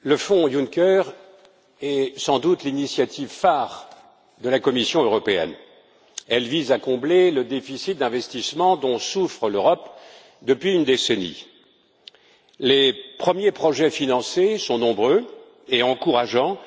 Madame la Présidente, le fonds Juncker est sans doute l'initiative phare de la Commission européenne. Elle vise à combler le déficit d'investissement dont souffre l'Europe depuis une décennie. Les premiers projets financés sont nombreux et encourageants,